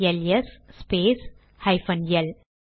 LS space hyphen L